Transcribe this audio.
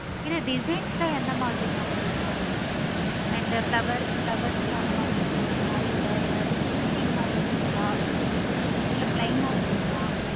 இது designs லாம் எந்த மாதிரி இருக்கு and flowers ஆஹ் அதான் mam